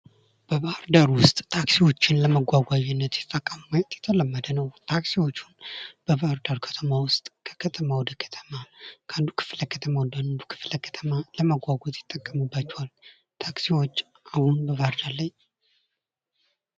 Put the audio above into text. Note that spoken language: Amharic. በባህርዳር ዉስጥ ታክሲዎችን ለመጓጓዣነት ሲጠቀሙ ማየት የተለመደ ነዉ። ታክሲዎቹን በባህርዳር ከተማ ዉስጥ ከከተማ ወደ ከተማ ከአንዱ ከክፍለ ከተማ ወደ አንዱ ክፍለ ከተማ ለመጓጓዝ ይጠቀሙባቸዋል። ታክሲዎች አሁን በባህርዳር ላይ ...